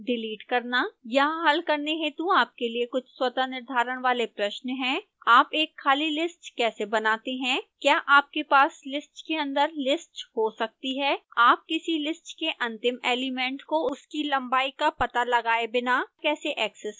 यहाँ हल करने हेतु आपके लिए कुछ स्वतः निर्धारण वाले प्रश्न हैं